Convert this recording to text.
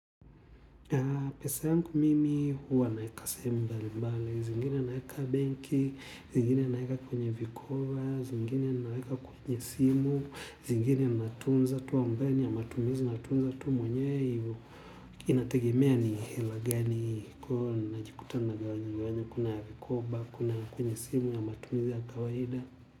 Pesa yangu mimi huwa naeka sehemu mbalimbali zingine naeka benki, zingine naeka kwenye vikoba, zingine naeka kwenye simu, zingine natunza tu ambayo ni ya matumizi natunza tu mwenyewe hivo inategemea ni hela gani kwa hivo ninajikuta nagawanya gawanya kuna ya vikoba, kuna ya kwenye simu ya matumizi ya kawaida.